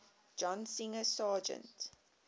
john singer sargent